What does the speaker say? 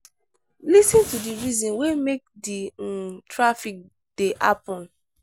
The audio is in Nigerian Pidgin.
lis ten to the reason wey make di um traffic dey happen